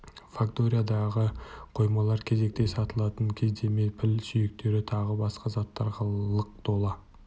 факториядағы қоймалар кезекте сатылатын кездеме піл сүйектері тағы басқа заттарға лық тола